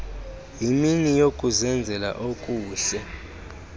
yimini yokuzenzela okuhle